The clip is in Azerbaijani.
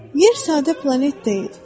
Yer sadə planet deyil.